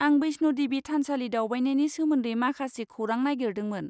आं बैष्ण' देबि थानसालि दावबायनायनि सोमोन्दै माखासे खौरां नागिरदोंमोन।